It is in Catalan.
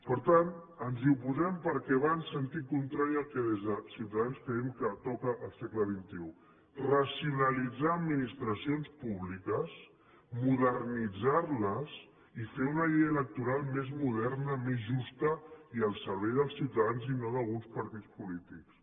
per tant ens hi oposem perquè va en sentit contrari al que des de ciutadans creiem que toca al segle xxi racionalitzar administracions públiques modernitzar les i fer una llei electoral més moderna més justa i al servei dels ciutadans i no d’alguns partits polítics